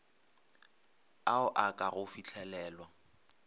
ao a ka go fihlelelwa